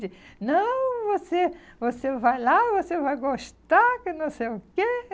De, não, você você vai lá, você vai gostar, que não sei o quê.